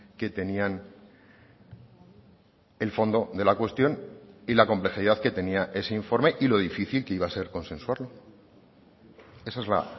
que tenían el fondo de la cuestión y la complejidad que tenía ese informe y lo difícil que iba a ser consensuarlo esa es la